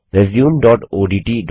resumeओडीटी